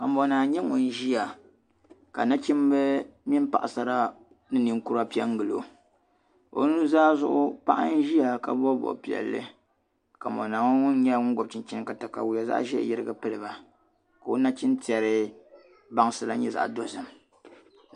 Kamonaa n-nyɛ ŋun ʒiya ka nachimba mini paɣisara ni niŋkura pe n-ɡili o o nuzaa zuɣu paɣa n-ʒiya ka bɔbi bɔb' piɛlli kamonaa ŋɔ ŋun nyɛla ŋun ɡɔbi chinchini ka takayua zaɣ' ʒee yiriɡi pili ba ka o nachintɛri bansi la nyɛ zaɣ' dɔzim